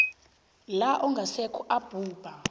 la ongasekho abhubha